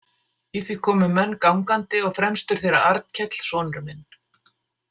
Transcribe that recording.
Í því komu menn gangandi og fremstur þeirra Arnkell sonur minn.